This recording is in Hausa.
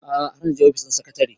a'a har naje ofis ɗin sekatare